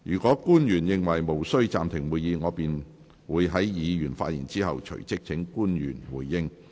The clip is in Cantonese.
若官員認為無需暫停會議，我便會在議員發言後，隨即請官員回應。